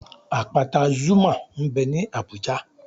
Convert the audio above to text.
Àpáta Zuma m bẹ ní Abùjá